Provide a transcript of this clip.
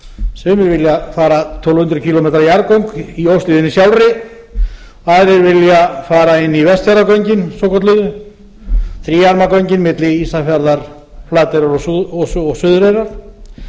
sumir vilja fara tólf hundruð kílómetra jarðgöng í óshlíðinni sjálfri og aðrir vilja fara inn í vestfjarðagöngin svokölluðu þríarma göngin milli ísafjarðar flateyrar og suðureyrar